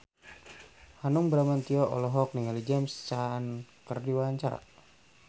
Hanung Bramantyo olohok ningali James Caan keur diwawancara